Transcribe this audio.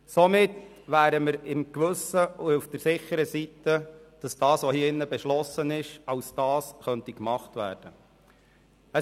Somit könnten wir ein ruhiges Gewissen haben, weil das, was hier beschlossen wird, so umgesetzt werden kann.